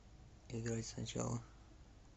играть сначала